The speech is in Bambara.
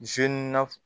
zenera